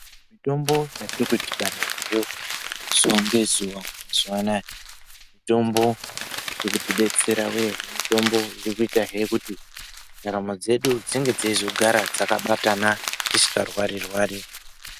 Mitombo yatiri kudhibana nayo zuwa ngezuwa mazuwa anaya mitombo yekutidetsera wee. Mitombo irikuitahe kuti ndaramo dzedu dzinge dzeizogara dzakabatana dzisingarwari-rwari.